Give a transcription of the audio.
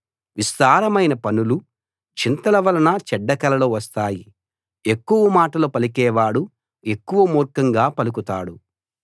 విస్తారమైన పనులు చింతల వలన చెడ్డ కలలు వస్తాయి ఎక్కువ మాటలు పలికేవాడు ఎక్కువ మూర్ఖంగా పలుకుతాడు